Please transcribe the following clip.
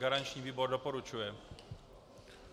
Garanční výbor doporučuje.